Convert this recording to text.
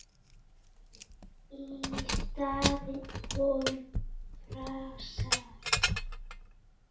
Í staðinn komu frasar.